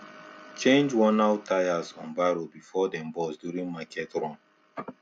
change wornout tyres on barrow before dem burst during market run